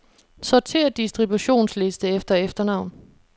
Sortér distributionsliste efter efternavn.